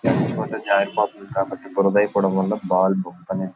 తడిచి పోతే జారిపోతుంది. కాబట్టి బురద అయిపోవడం వల్ల బాల్ అనేది--